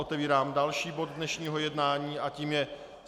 Otevírám další bod dnešního jednání a tím je